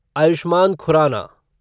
Ayushman Khurana